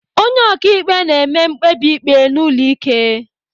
Onye ọkaikpe na-eme mkpebi ikpe n'ụlọ ike.